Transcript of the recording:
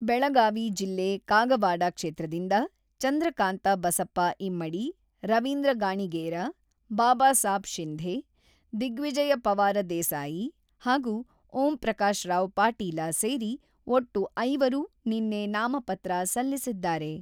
ಬೆಳಗಾವಿ ಜಿಲ್ಲೆ ಕಾಗವಾಡ ಕ್ಷೇತ್ರದಿಂದ ಚಂದ್ರಕಾಂತ ಬಸಪ್ಪ ಇಮ್ಮಡಿ, ರವೀಂದ್ರ ಗಾಣಿಗೇರ, ಬಾಬಾಸಾಬ್ ಶಿಂಧೆ, ದಿಗ್ವಿಜಯ ಪವಾರ ದೇಸಾಯಿ ಹಾಗೂ ಓಂ ಪ್ರಕಾಶರಾವ್ ಪಾಟೀಲ ಸೇರಿ ಒಟ್ಟು ಐವರು ನಿನ್ನೆ ನಾಮಪತ್ರ ಸಲ್ಲಿಸಿದ್ದಾರೆ.